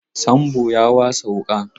Sambo ya wasa wuƙa.